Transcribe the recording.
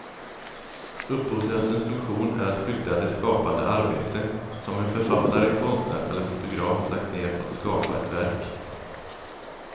Upphovsrättens funktion är att skydda det skapande arbete som en författare, konstnär eller fotograf lagt ned på att skapa ett verk.